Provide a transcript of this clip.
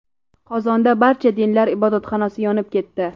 Qozonda Barcha dinlar ibodatxonasi yonib ketdi.